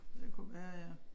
Det kunne være ja